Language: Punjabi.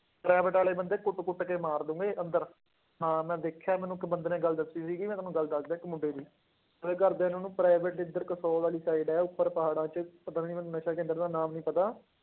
Private ਵਾਲੇ ਬੰਦੇ ਕੁੱਟ ਕੁੱਟ ਕੇ ਮਾਰ ਦੇਣਗੇ ਅੰਦਰ, ਹਾਂ ਮੈਂ ਦੇਖਿਆ ਮੈਨੂੰ ਇੱਕ ਬੰਦੇ ਨੇ ਗੱਲ ਦੱਸੀ ਸੀਗੀ, ਮੈਂ ਤੁਹਾਨੂੰ ਗੱਲ ਦੱਸਦਾਂ ਇੱਕ ਮੁੰਡੇ ਦੀ ਉਹਦੇ ਘਰਦਿਆਂ ਨੇ ਉਹਨੂੰ private ਇੱਧਰ ਵਾਲੀ side ਹੈ, ਉੱਪਰ ਪਹਾੜਾਂ ਚ ਪਤਾ ਨੀ ਮੈਨੂੰ ਨਸ਼ਾ ਕੇਂਦਰ ਦਾ ਨਾਮ ਨੀ ਪਤਾ।